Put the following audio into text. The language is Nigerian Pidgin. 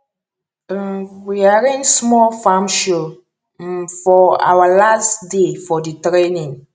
um we arrange small farm show um for awa last day for di training